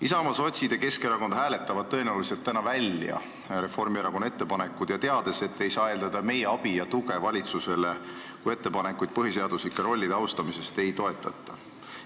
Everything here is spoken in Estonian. Isamaa, sotsid ja Keskerakond hääletavad tõenäoliselt täna välja Reformierakonna ettepanekud, teades, et ei saa eeldada meie abi ja tuge valitsusele, kui ettepanekuid põhiseaduslike rollide austamise kohta ei toetata.